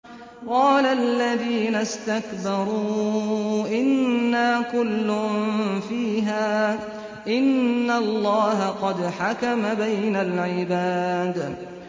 قَالَ الَّذِينَ اسْتَكْبَرُوا إِنَّا كُلٌّ فِيهَا إِنَّ اللَّهَ قَدْ حَكَمَ بَيْنَ الْعِبَادِ